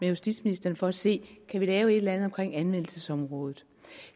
justitsministeren for at se om kan lave et eller andet omkring anvendelsesområdet